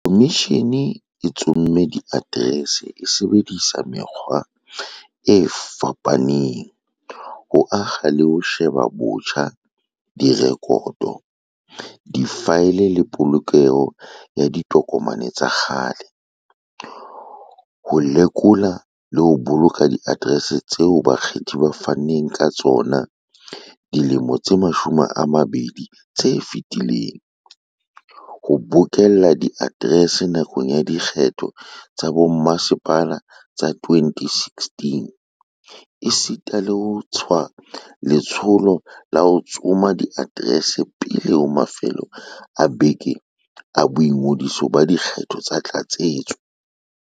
Khomishene e tsomme diaterese e sebedisa mekgwa e fapa neng, ho akga le ho sheba botjha direkoto, difaele le polokelo ya ditokomane tsa kgale, ho lekola le ho boloka diaterese tseo bakgethi ba faneng ka tsona dilemong tse 20 tse fetileng, ho bokella diaterese nakong ya dikgetho tsa bomasepala tsa 2016, esita le ho tswa letsholo la ho ya tsoma diaterese pele ho mafelo a beke a boingodiso ba dikgetho tsa tlatsetso.